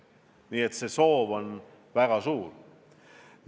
Nii et see soov on väga suur.